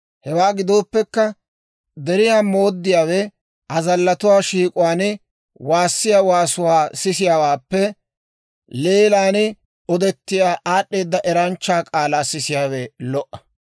Hewaa gidooppekka, deriyaa mooddiyaawe azallatuwaa shiik'uwaan waassiyaa waasuwaa sisiyaawaappe, leelan odettiyaa aad'd'eeda eranchchaa k'aalaa sisiyaawe lo"a.